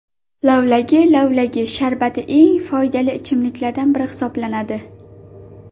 Lavlagi Lavlagi sharbati eng foydali ichimliklardan biri hisoblanadi.